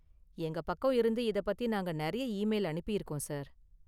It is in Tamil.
எங்க பக்கம் இருந்து இத பத்தி நாங்க நிறைய இமெயில் அனுப்பிருக்கோம், சார்.